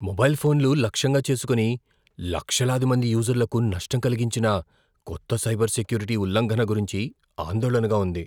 Mobile ఫోన్లు లక్ష్యంగా చేసుకుని, లక్షలాది మంది యూజర్లకు నష్టం కలిగించిన కొత్త సైబర్ సెక్యూరిటీ ఉల్లంఘన గురించి ఆందోళనగా ఉంది.